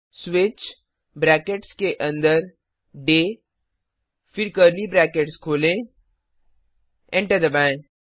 switch brackets के अन्दर dayदिनफिर कर्ली ब्रैकेट्स खोलें एंटर दबाएँ